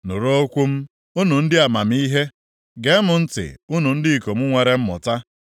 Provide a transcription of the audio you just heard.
“Nụrụ okwu m, unu ndị amamihe; gee m ntị unu ndị ikom nwere mmụta.